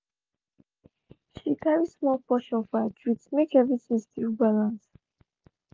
she carry small portion for her treat make everything still balance.